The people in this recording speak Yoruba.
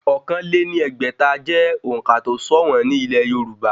Ọ̀kan lé ní ẹgbẹ́ta jẹ́ òǹkà tó sọ̀wọ́n ní ilẹ̀ yorùbá